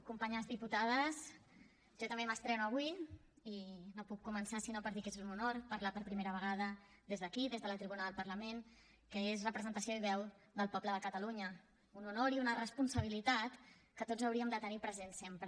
companyes diputades jo també m’estreno avui i no puc començar si no per dir que és un honor parlar per primera vegada des d’aquí des de la tribuna del parlament que és representació i veu del poble de catalunya un honor i una responsabilitat que tots hauríem de tenir present sempre